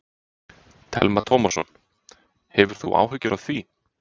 Telma Tómasson: Hefur þú áhyggjur af því?